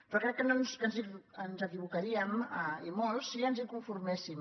però crec que ens equivocaríem i molt si ens hi con·forméssim